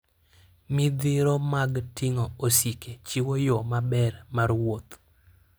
Midhiro mag ting'o osike chiwo yo maber mar wuoth.